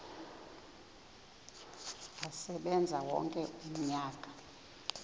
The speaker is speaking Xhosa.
asebenze wonke umnyaka